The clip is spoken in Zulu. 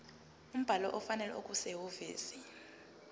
umbhalo ofanele okusehhovisi